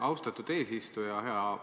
Austatud eesistuja!